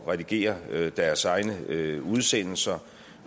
redigere deres egne udsendelser